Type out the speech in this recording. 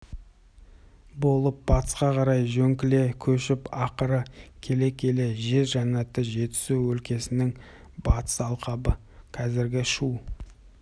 болып батысқа қарай жөңкіле көшіп ақыры келе-келе жер жаннаты жетісу өлкесінің батыс алқабы қазіргі шу